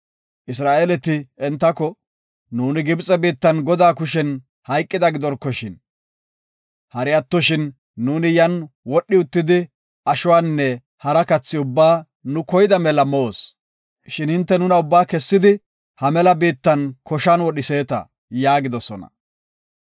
Isra7eeleti entako, “Nuuni Gibxe biittan Godaa kushen hayqida gidorkoshin. Hari atto nuuni yan wodhi uttidi ashuwanne hara kathi ubbaa nu koyida mela moos. Shin hinte nuna ubbaa kessidi ha mela biitta koshan wodhiseeta” yaagidosona.